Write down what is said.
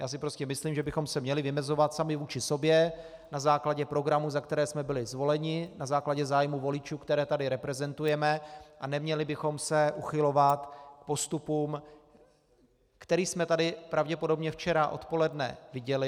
Já si prostě myslím, že bychom se měli vymezovat sami vůči sobě na základě programů, za které jsme byli zvoleni, na základě zájmu voličů, které tady reprezentujeme, a neměli bychom se uchylovat k postupům, který jsme tady pravděpodobně včera odpoledne viděli.